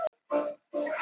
Haflína